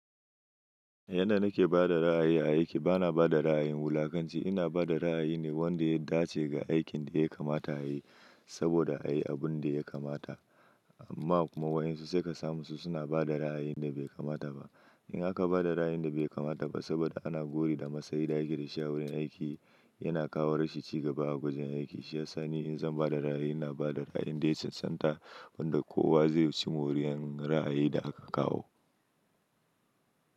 Yanda nake ba da ra'ayi a aiki, bana ba da ra'ayin wulakanci. Ina ba da ra'ayi ne wanda ya dace ga aikin da ya kamata a yi, saboda a yi abin da ya kamata. Ma kuma wai in su suka samu su, suna ba da ra'ayin da bai kamata ba. In aka ba da ra'ayin da bai kamata ba, saboda ana gori da masayin da ake da shi a wurin aiki, yana kawo rashin ci gaba a gwajin aiki. Shiyasa ne in zan ba da ra'ayi, ina ba da ra'ayin da ya cancanta, wanda kowa zai ci moriyar ra'ayin da aka kawo.